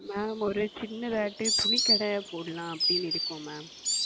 Ma'am ஓர் சின்னதாட்டு துணி கடை போடலாம் அப்படின்னு இருக்கிறோம் Ma'am.